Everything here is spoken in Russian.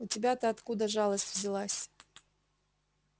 у тебя-то откуда жалость взялась